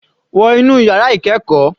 Wọ inú yàrá ìkẹ́ẹ̀kọ́.